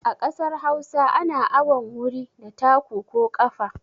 A kasar Hausa ana awon wuri da taku ko ƙafa.